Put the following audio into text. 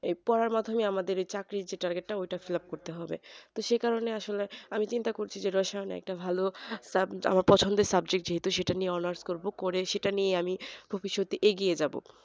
এই পড়ার মতনই আমাদের যে চাকরির যে target টা ঐটা fillup করতে হবে তো সেকারণে আসলে আমি চিন্তা করছি যে রসায়ন একটা ভালো সাব আমার পছন্দের subject যেহেতু সেটা নিয়ে honours করবো করে সেইটা নিয়ে আমি ভবিৎষতে এগিয়ে যাবো